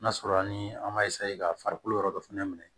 N'a sɔrɔ an ni an m'a ka farikolo yɔrɔ dɔ fɛnɛ minɛ